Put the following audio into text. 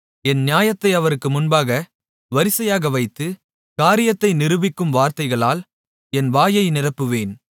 என் நியாயத்தை அவருக்கு முன்பாக வரிசையாக வைத்து காரியத்தை நிரூபிக்கும் வார்த்தைகளால் என் வாயை நிரப்புவேன்